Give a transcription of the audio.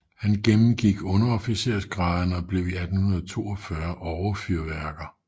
Han gennemgik underofficersgraderne og blev i 1842 overfyrværker